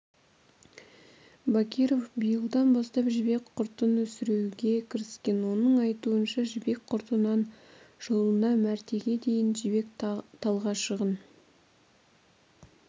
бакиров биылдан бастап жібек құртын өсіруге кіріскен оның айтуынша жібек құртынан жылына мәртеге дейін жібек талғашығын